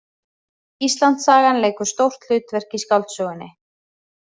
Íslandssagan leikur stórt hlutverk í skáldsögunni